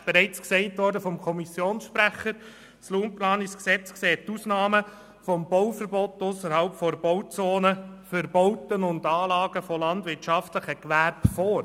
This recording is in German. Wie der Kommissionssprecher bereits gesagt hat, sieht das Raumplanungsgesetz Ausnahmen des Bauverbots ausserhalb der Bauzonen für Bauten und Anlagen von landwirtschaftlichen Gewerben vor.